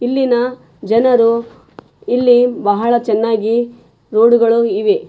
ಇಲ್ಲಿನ ಜನರು ಇಲ್ಲಿ ಬಹಳ ಚೆನ್ನಾಗಿ ಬೋರ್ಡುಗಳು ಇವೆ.